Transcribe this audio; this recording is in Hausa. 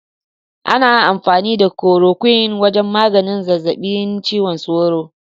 Ana amfani da korokwin wajen maganin zazzabin cizon sauro.